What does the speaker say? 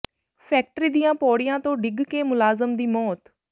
factory ਦੀਆਂ ਪੌੜੀਆਂ ਤੋਂ ਡਿੱਗ ਕੇ ਮੁਲਾਜ਼ਮ ਦੀ ਮੌਤ